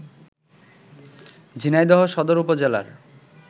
ঝিনাইদহ সদর উপজেলার